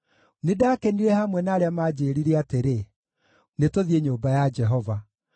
Nĩndakenire hamwe na arĩa maanjĩĩrire atĩrĩ, “Nĩtũthiĩ nyũmba ya Jehova.”